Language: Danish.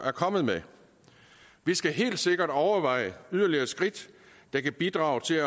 er kommet med vi skal helt sikkert overveje yderligere skridt der kan bidrage til